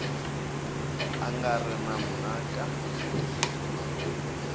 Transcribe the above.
a nga ri na mhaka